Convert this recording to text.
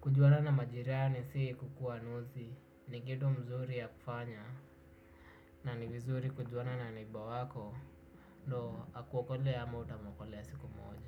Kujuana na majirani si kukuwa nozi, ni kitu mzuri ya kufanya, na ni vizuri kujuana na neighnour wako, ndo akuokolee ama utamuokolea siku moja.